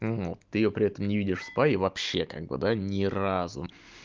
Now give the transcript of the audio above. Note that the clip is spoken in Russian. ну ты её при этом не видишь спа и вообще как бы да ни разу